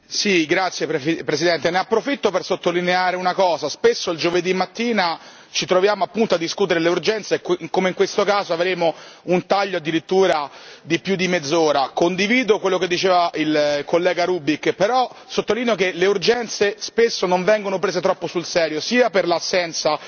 Signor Presidente, onorevoli colleghi, ne approfitto per sottolineare una cosa spesso il giovedì mattina ci troviamo a discutere delle urgenze, e come in questo caso avremo un taglio addirittura di più di mezz'ora. Condivido quello che diceva il collega Rübig, però sottolineo che le urgenze spesso non vengono prese troppo sul serio per l'assenza